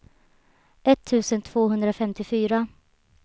etttusen tvåhundrafemtiofyra